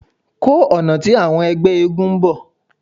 Ko ọna ti awọn ẹgbẹ eégún n bọ